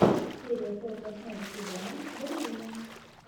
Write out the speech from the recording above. серия сорок восьмого сезона балерины